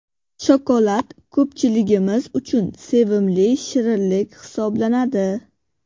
Shokolad ko‘pchiligimiz uchun sevimli shirinlik hisoblanadi.